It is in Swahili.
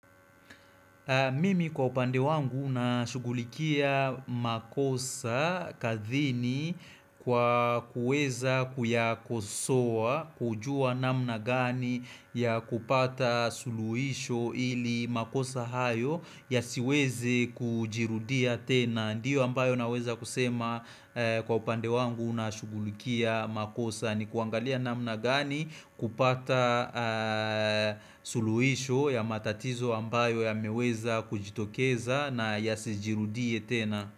Mimi kwa upande wangu na shugulikia makosa kazini kwa kuweza kuyakosowa kujua namna gani ya kupata suluhisho ili makosa hayo ya siweze kujirudia tena. Ndiyo ambayo naweza kusema kwa upande wangu na shugulikia makosa ni kuangalia namna gani kupata suluhisho ya matatizo ambayo yameweza kujitokeza na yasi jirudie tena.